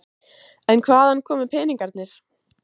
En hvaðan komu peningarnir?